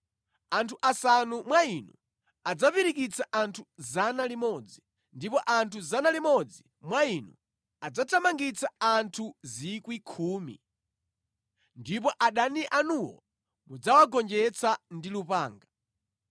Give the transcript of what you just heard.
Anthu asanu mwa inu adzapirikitsa anthu 100, ndipo anthu 100 mwa inu adzathamangitsa anthu 10,000, ndipo adani anuwo mudzawagonjetsa ndi lupanga.